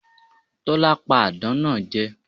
Tólá pa àdán náa je